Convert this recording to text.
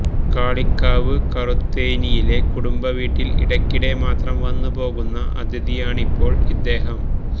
കാളികാവ് കറുത്തേനിയിലെ കുടുംബ വീട്ടില് ഇടക്കിടെ മാത്രം വന്നുപോകുന്ന അതിഥിയണിപ്പോള് ഇദ്ദേഹം